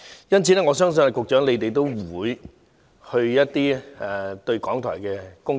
因此，我相信局長不會否定需要檢討港台的工作。